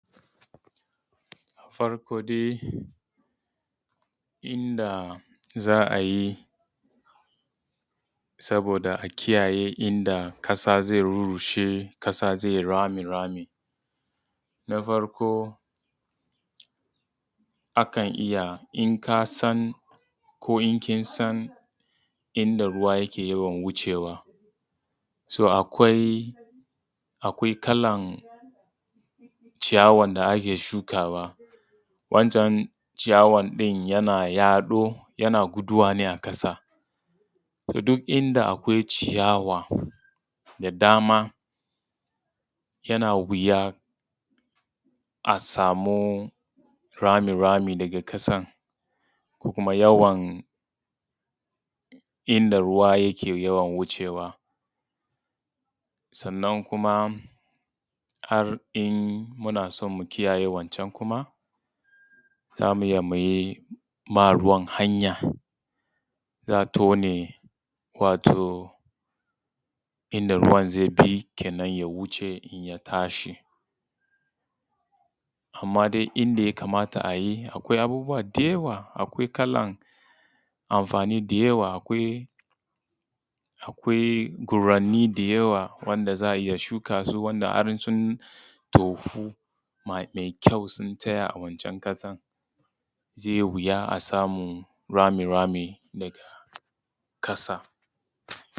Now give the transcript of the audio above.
Farko dai inda za a yi saboda a kiyaye inda ƙasa zai rushe, ƙasa zai yi rami rami. Na farko akan iya in ka san ko in kin san inda ruwa yake yawan wucewa, to akwai kalan ciyawan da ake shukawa. wancan ciyawan ɗin yana yaɗo yana guduwa ne a ƙasa. To duk inda akwai ciyawa da dama yana wuya a samu rami rami daga ƙasan ko kuma yawan inda ruwa yake yawan wucewa, sannan kuma har in muna son mu kiyaye wancan kuma za mu iya mu yi ma ruwan hanya. Za a tone wato inda ruwan zai bi kenan ya wuce, in ya tashi. Amma dai inda ya kamata a yi, akwai abubuwa da yawa. Akwai kalan amfani da yawa. Akwai gurare da yawa wanda za a iya shuka su wanda har su tofu mai kyau sun tsaya a wancan ƙasan. Zai yi wuya a samu rami rami daga ƙasan.